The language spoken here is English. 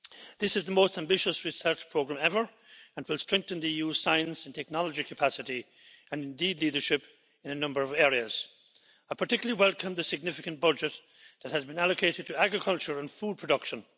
This is the most ambitious research programme ever and will strengthen the EU's science and technology capacity and, indeed, leadership in a number of areas. I particularly welcome the significant budget that has been allocated to agriculture and food production.